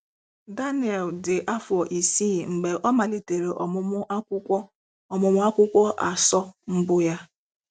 Daniel dị afọ isii mgbe ọ malitere ọmụmụ Akwụkwọ ọmụmụ Akwụkwọ asọ mbu ya.